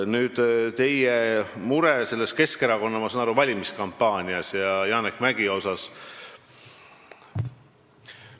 Nüüd teie mure Keskerakonna, ma saan nii aru, valimiskampaania ja Janek Mäggi pärast.